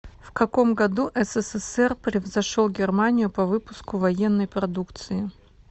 в каком году ссср превзошел германию по выпуску военной продукции